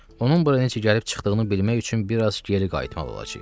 Onun bura necə gəlib çıxdığını bilmək üçün bir az geri qayıtmalı olacağıq.